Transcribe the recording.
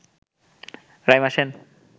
Raima Sen